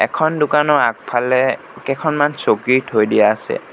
এখন দোকানৰ আগফালে কেইখনমান চকী থৈ দিয়া আছে।